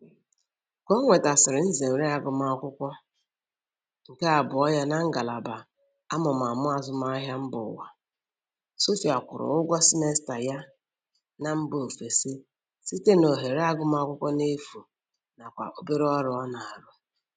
Ka o nwetasịrị nzere agụmakwụkwọ nke abụọ ya na ngalaba amụmamụ azụmahịa mbaụwa, Sophia kwụrụ ụgwọ simesta ya na mba ofesi site n'ohere agụmakwụkwọ n'efu nakwa obere ọrụ ọ na-arụ